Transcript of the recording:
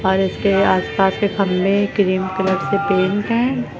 और इसके आस पास के खंभे क्रीम कलर से पेंट हैं।